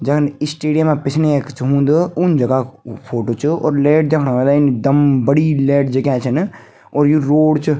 जन स्टेडियमा पिछने यख च हुन्द उन जगह कु फोटो च यो और लैट दयेखणा वेला इन दम बड़ी लैट जग्याँ छन और यु रोड च।